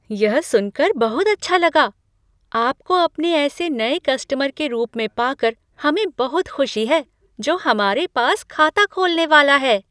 यह सुन कर बहुत अच्छा लगा! आपको अपने ऐसे नए कस्टमर के रूप में पा कर हमें बहुत खुशी है जो हमारे पास खाता खोलने वाला है।